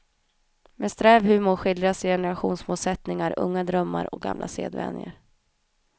Med sträv humor skildras generationsmotsättningar, unga drömmar och gamla sedvänjor.